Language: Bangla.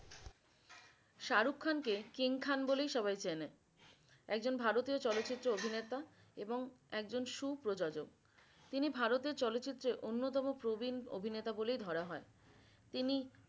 শাহরুখ খান কে কিং খান বলেই সবাই চেনে। একজন ভারতীয় চলচিত্র অভিনেতা এবং একজন সুপ্রযোজক। তিনি ভারতের চলচিত্রে অন্যতম প্রবিন অভিনেতা বলে ধরা হয় তিনি